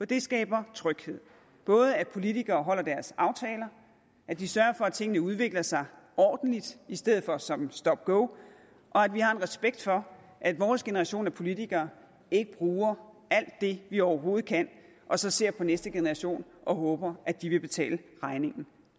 det skaber tryghed både at politikere holder deres aftaler at de sørger for at tingene udvikler sig ordentligt i stedet for som stop go og at vi har en respekt for at vores generation af politikere ikke bruger alt det vi overhovedet kan og så ser på næste generation og håber at de vil betale regningen